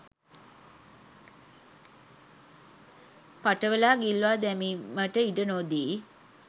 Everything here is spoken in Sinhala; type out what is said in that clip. පටවලා ගිල්වා දැමීමට ඉඩ නොදී